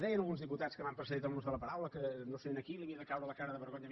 deien alguns diputats que m’han precedit en l’ús de la paraula que no sé a qui li havia de caure la cara de vergonya